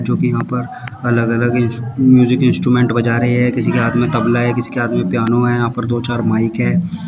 जोकि यहां पर अलग अलग इंस म्यूजिक इंस्ट्रूमेंट बजा रहे है किसी के हाथ में तबला है किसी के हाथ में पियानो है यहां पर दो चार माइक है।